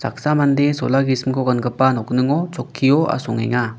mande sola gisimko gangipa nokningo chokkio asongenga.